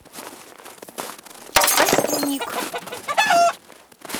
костюник